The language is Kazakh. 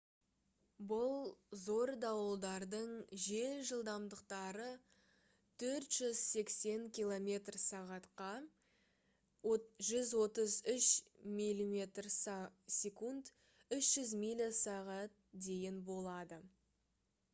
бұл зор дауылдардың жел жылдамдықтары 480 км/сағ-қа 133 м/с; 300 миля/сағ дейін болады